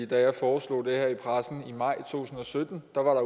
da jeg foreslog det her i pressen maj to tusind og sytten var